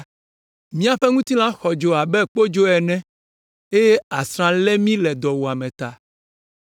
Míaƒe ŋutilã xɔ dzo abe kpodzo ene eye asrã lé mí le dɔwuame ta.